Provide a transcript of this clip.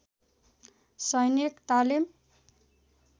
सैनिक तालिम